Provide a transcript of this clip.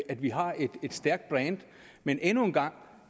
at vi har et stærkt brand men endnu en gang